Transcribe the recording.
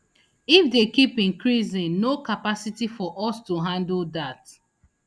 if dey keep increasing no capacity for us to handle dat